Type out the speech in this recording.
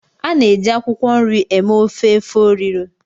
A na-eji akwụkwọ nri eme ofe efo riro.